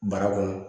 Bara kɔnɔ